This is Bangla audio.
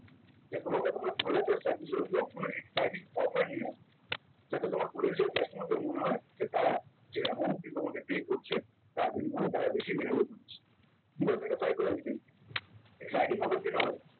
যে তোমাকে তোমার product আর service এর উপর কোন exciting offer নিয়ে আসতে হবে যাতে তোমার potential customer দের মনে হয় যে তারা যে এমনকি তোমাকে pay করছে তার বিনিময়ে তারা বেশি develop হচ্ছে because এটা psychological exciting offer কেন হয়